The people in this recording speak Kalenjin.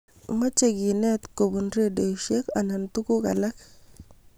Mache kenet kobon redioishek anan tuguk alak